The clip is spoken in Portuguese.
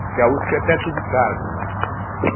Porque a uspe é perto de casa, né?